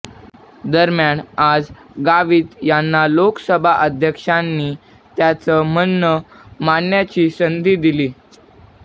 दरम्यान आज गावित यांना लोकसभा अध्यक्षांनी त्यांचं म्हणणं मांडण्याची संधी दिली